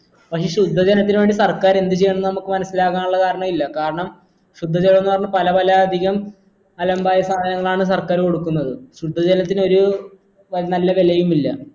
പക്ഷെ ശുദ്ധ ജലത്തിനു വേണ്ടി സർക്കാർ എന്തു ചെയ്യണെന്ന് നമ്മക് മനസിലാക്കാനുള്ള കാരണില്ല കാരണം ശുദ്ധ ജലോന്ന് പറഞ്ഞ പല പല അധികം അലമ്പായ സാധനങ്ങളാണ് സർക്കാർ കൊടുക്കുന്നത് ശുദ്ധ ജലത്തിനൊരു നല്ല വെലയുമില്ല